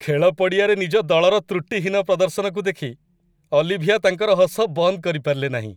ଖେଳ ପଡ଼ିଆରେ ନିଜ ଦଳର ତ୍ରୁଟିହୀନ ପ୍ରଦର୍ଶନକୁ ଦେଖି ଅଲିଭିଆ ତାଙ୍କର ହସ ବନ୍ଦ କରିପାରିଲେ ନାହିଁ।